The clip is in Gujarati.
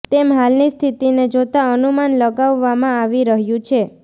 તેમ હાલની સ્થિતિને જોતા અનુમાન લગાવવામાં આવી રહ્યુ છે